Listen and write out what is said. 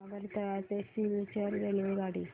आगरतळा ते सिलचर रेल्वेगाडी